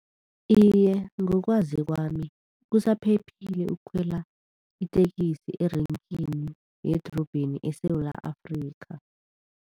Iye, ngokwazi kwami kusaphephile ukukhwela itekisi erenkini yedrobheni eSewula Afrikha.